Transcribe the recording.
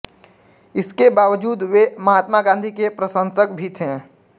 इसके बावजूद वे महात्मा गांधी के प्रशंसक भी थे